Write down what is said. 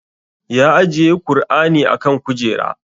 Ya ajiye kur'ani a kan kujera